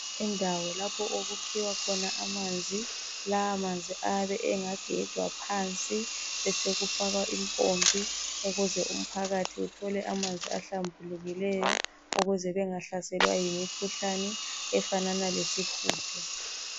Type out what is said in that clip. Indawo okukhiwa khona amanzi ,lawo manzi ayabe egejwa phansi besokufakwa impompi ukuze uphakathi uthole amanzi ahlambukileyo ukuze bengahlaselwa yimikhuhlane efanana lesihudo.